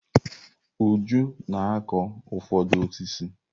Uju na-akụ ụfọdụ osisi.